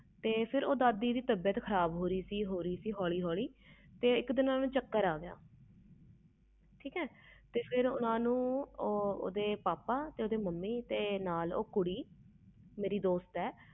ਫਿਰ ਦਾਦੀ ਦੀ ਤਬੀਅਤ ਖਰਾਬ ਹੋ ਰਹੀ ਸੀ ਹੋਲੀ ਹੋਲੀ ਤੇ ਇਕ ਦਿਨ ਓਹਨੂੰ ਚੱਕਰ ਆ ਗਿਆ ਫਿਰ ਓਹਨੂੰ ਓਹਦੇ ਪਾਪਾ ਤੇ ਮਾਮੀ ਤੇ ਨਾਲ ਓਹਨਾ ਦੇ ਉਹ ਕੁੜੀ ਮੇਰੀ ਦੋਸਤ ਆ